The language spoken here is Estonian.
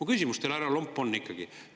Mu küsimus teile, härra Lomp, on ikkagi see.